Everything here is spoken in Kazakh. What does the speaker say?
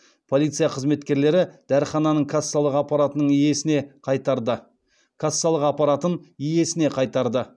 полиция қызметкерлері дәріхананың кассалық аппараттын иесіне қайтарды